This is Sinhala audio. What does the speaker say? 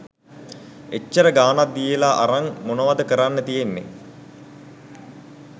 එච්චර ගාණක් දීලා අරන් මොනවද කරන්න තියෙන්නේ